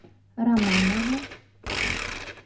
романову